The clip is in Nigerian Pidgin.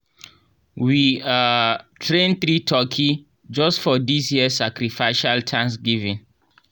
we um train three turkey just for dis year sacrificial thanksgiving.